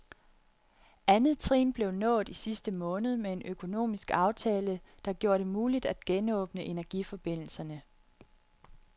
Andet trin blev nået i sidste måned med en økonomisk aftale, der gjorde det muligt at genåbne energiforbindelserne.